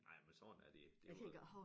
Ej men sådan er det det var